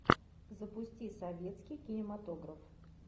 запусти советский кинематограф